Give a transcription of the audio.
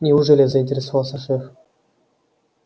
неужели заинтересовался шеф